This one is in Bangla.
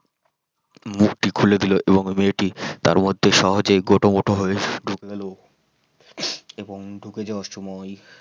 মুখটি খুলে দিল এবং মেয়েটি তার মধ্যে সহজে গোটা মোটা হয়ে ঢুকে গেল এবং ঢুকে যাওয়ার সময়